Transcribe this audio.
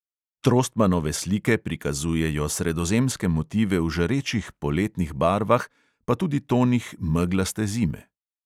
Trostmannove slike prikazujejo sredozemske motive v žarečih poletnih barvah, pa tudi tonih meglaste zime.